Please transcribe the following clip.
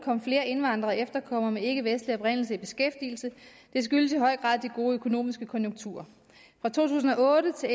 kom flere indvandrere og efterkommere med ikkevestlig oprindelse i beskæftigelse det skyldtes i høj grad de gode økonomiske konjunkturer fra to tusind og otte til